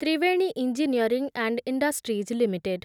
Triveni engineering and industries limited